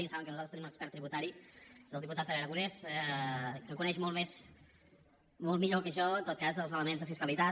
ja saben que nosaltres tenim un expert tributari és el diputat pere aragonès que coneix molt més molt millor que jo en tot cas els elements de fiscalitat